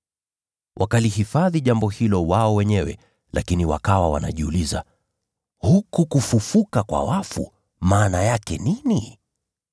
Wakalihifadhi jambo hilo wao wenyewe, lakini wakawa wanajiuliza, “Huku kufufuka kwa wafu maana yake nini?”